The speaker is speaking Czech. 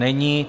Není.